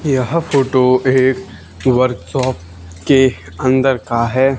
यह फोटो एक workshop के अंदर का है।